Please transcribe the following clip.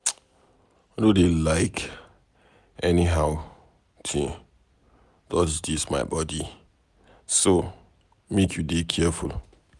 I no dey like anyhow thing touch dis my body so make you dey careful.